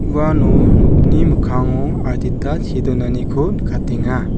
uano nokni mikkango adita see donaniko nikatenga.